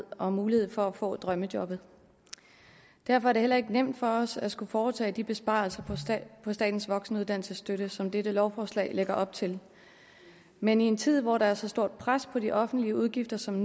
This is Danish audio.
og mulighed for at få drømmejobbet derfor er det heller ikke nemt for os at skulle foretage de besparelser på statens voksenuddannelsesstøtte som dette lovforslag lægger op til men i en tid hvor der er så stort et pres på de offentlige udgifter som